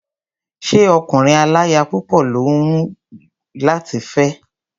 Ṣé ọkùnrin aláya púpọ̀ ló hùn ọ́ láti fé ni?